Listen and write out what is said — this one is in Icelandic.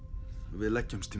við leggjumst